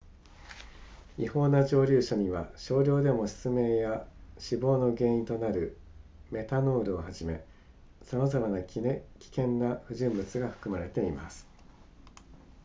違法な蒸留酒には少量でも失明や死亡の原因となるメタノールをはじめさまざまな危険な不純物が含まれています